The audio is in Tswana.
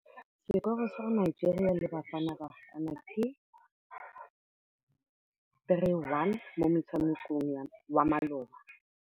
Sekôrô sa Nigeria le Bafanabafana ke 3-1 mo motshamekong wa malôba.